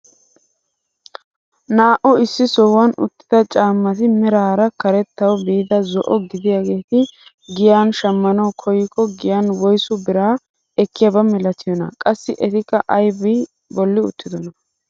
Naa"u issi sohuwaan uttida caammati meraara karettawu biida zo"o gidiyaageeti giyaan shammanawu koykko giyaan woysu biraa eekiyaaba milatiyoonaa? Qassi etikka aybi bolli uttidonaa?